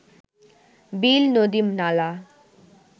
বিল নদী নালা